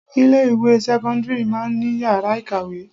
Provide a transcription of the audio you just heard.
Ilé ìwé sẹ́kọ́ńdírì máa ń ní yàrá ìkàwé.